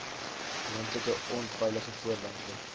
moontlike onveilige voorwerpe